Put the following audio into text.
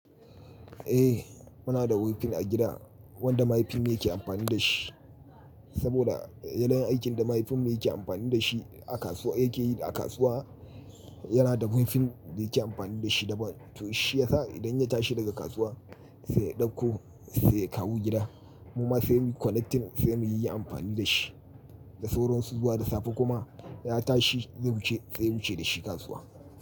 Eh muna da wifin a gida wanda mahaifin yake amfani da shi saboda yanayin aikin da mahaifin yake amfani da shi a kasuwa yake yi a kasuwa yana da wifin da yake amfani da shi daban. To shi yasa idan ya tashi daga kasuwa sai ya ɗauko sai ya kawo gida. Muma sai muyi connecting sai muyi amfani da shi. Da sauran su zuwa da safe kuma ya tashi zai wuce sai ya wuce da shi kasuwa.